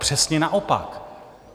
Přesně naopak!